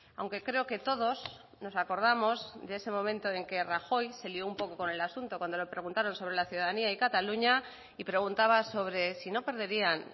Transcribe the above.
aunque creo que todos nos acordamos de ese momento en que rajoy se lió un poco con el asunto cuando le preguntaron sobre la ciudadanía y cataluña y preguntaba sobre si no perderían